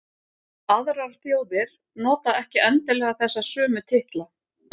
Aðrar þjóðir nota ekki endilega þessa sömu titla.